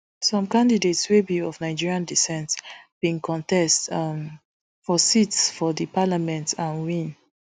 some candidates wey be of nigeriandescent bin contest um for seats for di parliament and win